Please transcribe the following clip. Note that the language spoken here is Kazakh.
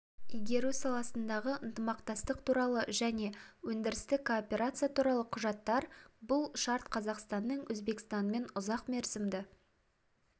игеру саласындағы ынтымақтастық туралы және өндірістік кооперация туралы құжаттар бұл шарт қазақстанның өзбекстанмен ұзақмерзімді